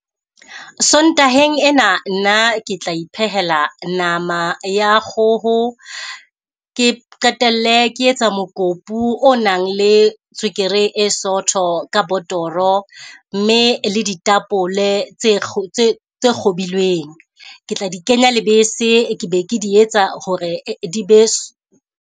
Sontaheng ena nna ke tla iphehela nama ya kgoho, ke qetelle ke etsa mokopu o nang le tswekere e sotho ka botoro mme le ditapole tse tse kgobilweng. Ke tla di kenya lebese, ke be ke di etsa ho re di be .